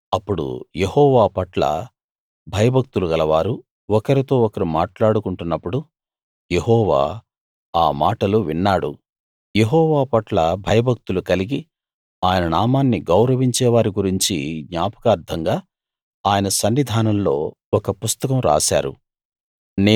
అప్పుడు యెహోవా పట్ల భయభక్తులు గలవారు ఒకరితో ఒకరు మాట్లాడుకుంటున్నప్పుడు యెహోవా ఆ మాటలు విన్నాడు యెహోవా పట్ల భయభక్తులు కలిగి ఆయన నామాన్ని గౌరవించే వారి గురించి జ్ఞాపకార్థంగా ఆయన సన్నిధానంలో ఒక పుస్తకం రాశారు